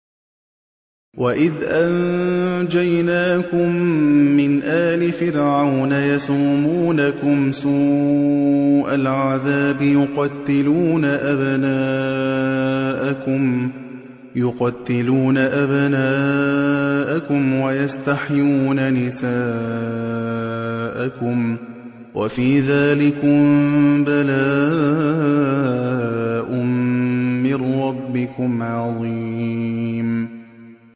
وَإِذْ أَنجَيْنَاكُم مِّنْ آلِ فِرْعَوْنَ يَسُومُونَكُمْ سُوءَ الْعَذَابِ ۖ يُقَتِّلُونَ أَبْنَاءَكُمْ وَيَسْتَحْيُونَ نِسَاءَكُمْ ۚ وَفِي ذَٰلِكُم بَلَاءٌ مِّن رَّبِّكُمْ عَظِيمٌ